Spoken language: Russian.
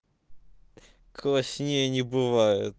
класнее не бывает